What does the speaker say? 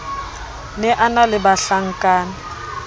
ne a na le bahlankana